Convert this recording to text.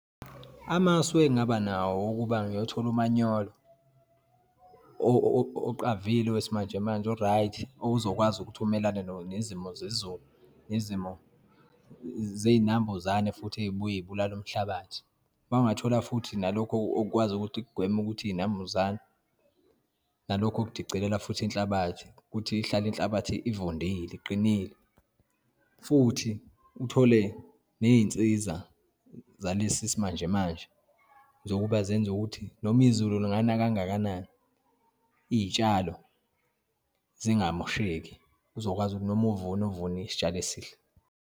Amasu engaba nawo ukuba ngiyothola umanyolo oqavile wesimanjemanje, o-right, ozokwazi ukuthi umelane nezimo zezulu, nezimo zeyinambuzane, futhi eyibuye yibulale umhlabathi. Uma ungathola futhi nalokhu okwazi ukuthi kugweme ukuthi iyinambuzane, nalokhu okudicelela futhi inhlabathi, ukuthi ihlale inhlabathi evundile, iqinile, futhi uthole neyinsiza zalesi simanjemanje zokuba zenza ukuthi noma izulu lingana kangakanani iyitshalo zingamosheki, uzokwazi ukuthi noma uvuna, uvune isitshalo esihle.